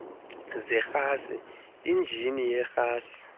zerhasi injini yerhasi